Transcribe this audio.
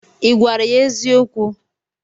Ị gwara ya eziokwu?